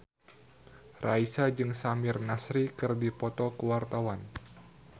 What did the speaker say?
Raisa jeung Samir Nasri keur dipoto ku wartawan